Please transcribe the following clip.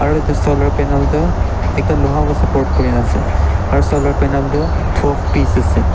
aru edu solar panal tu ekta loha pa support kurina ase aru solar panal toh twelve piece ase.